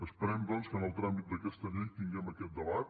esperem doncs que en el tràmit d’aquesta llei tinguem aquest debat